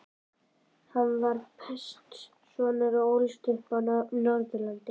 Hann var prestssonur og ólst upp á Norðurlandi.